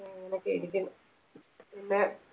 അങ്ങനൊക്കിരിക്കുന്നു പിന്നെ